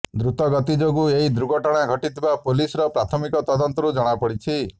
ଦ୍ରୁତଗତି ଯୋଗୁ ଏହି ଦୁର୍ଘଟଣା ଘଟିଥିବା ପୁଲିସ୍ର ପ୍ରାଥମିକ ତଦନ୍ତରୁ ଜଣାପଡ଼ିଛି